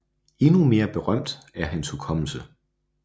Endnu mere berømt er hans hukommelse